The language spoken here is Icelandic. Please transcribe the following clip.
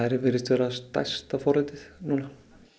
virðist vera stærsta forritið núna